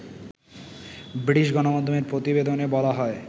British গণমাধ্যমের প্রতিবেদনে বলা হয়